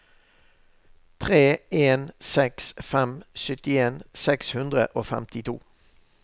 tre en seks fem syttien seks hundre og femtito